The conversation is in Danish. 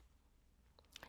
DR1